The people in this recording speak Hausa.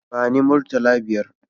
Ba ni murtala biyar